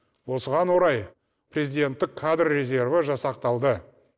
осыған орай президенттік кадр резерві жасақталды